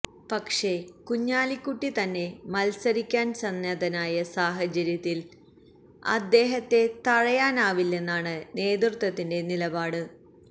പക്ഷേ കുഞ്ഞാലിക്കുട്ടി തന്നെ മത്സരിക്കാന് സന്നദ്ധനായ സാഹചര്യത്തില് അദ്ദേഹത്തെ തഴയാനാവില്ലെന്നാണ് നേതൃത്വത്തിന്റെ നിലപാട്